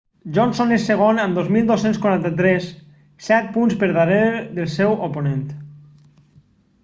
johnson és segon amb 2.243 set punts per darrere del seu oponent